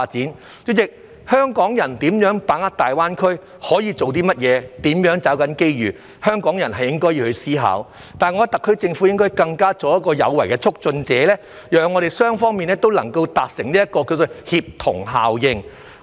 代理主席，對於如何把握大灣區機遇、可以做些甚麼、如何抓緊機遇，是香港人應該思考的，但我認為特區政府亦應作有為的促進者，讓雙方達成協同效應。